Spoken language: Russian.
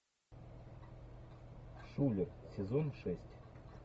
шулер сезон шесть